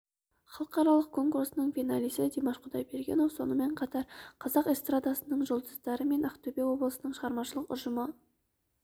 халықаралық конкурсының финалисі димаш құдайбергенов сонымен қатар қазақ эстрадасының жұлдыздары мен ақтөбе облысының шығармашылық ұжымы